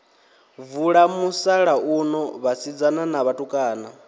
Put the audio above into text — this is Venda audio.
vula musalauno vhasidzana na vhatukana